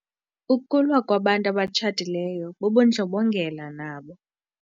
Ukulwa kwabantu abatshatileyo bubundlobongela nabo.